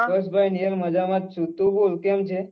yes ભાઈ મુ એ મજામાં છુ તું બોલ કેમ છે?